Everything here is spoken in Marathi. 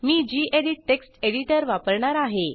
मी गेडीत टेक्स्ट एडिटर वापरणार आहे